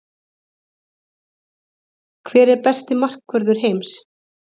Hver er besti markvörður heims?